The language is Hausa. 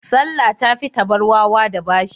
Salla ta tafi ta bar wawa da bashi.